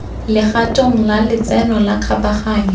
legatong la letseno la kgabaganyo